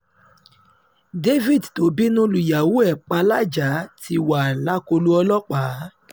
david tó bínú lùyàwó ẹ̀ pa lajah ti wà lákọlò ọlọ́pàá